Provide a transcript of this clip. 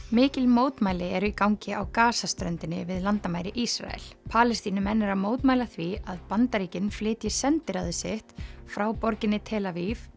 mikil mótmæli eru í gangi á Gaza ströndinni við landamæri Ísrael Palestínumenn eru að mótmæla því að Bandaríkin flytji sendiráðið sitt frá borginni tel Aviv